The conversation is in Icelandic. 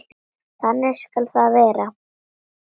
Þannig skal það verða.